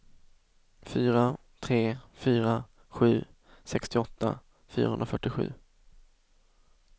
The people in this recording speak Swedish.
fyra tre fyra sju sextioåtta fyrahundrafyrtiosju